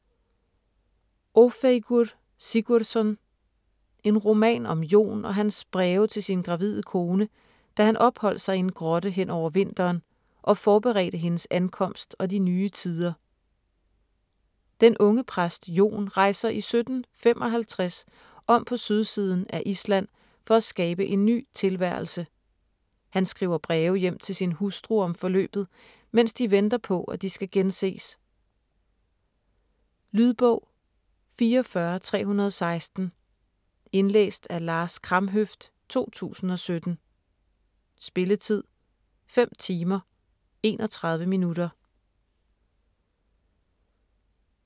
Ófeigur Sigurðsson: En roman om Jon og hans breve til sin gravide kone, da han opholdt sig i en grotte hen over vinteren og forberedte hendes ankomst og de nye tider Den unge præst Jon rejser i 1755 om på sydsiden af Island for at skabe en ny tilværelse. Han skriver breve hjem til sin hustru om forløbet, mens de venter på, at de skal genses. Lydbog 44316 Indlæst af Lars Kramhøft, 2017. Spilletid: 5 timer, 31 minutter.